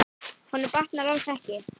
Honum batnar alls ekki.